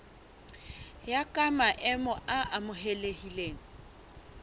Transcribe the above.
ya ka maemo a amohelehileng